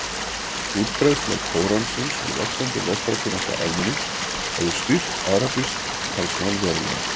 Útbreiðsla Kóransins og vaxandi lestrarkunnátta almennings hefur styrkt arabískt talmál verulega.